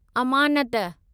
अमानत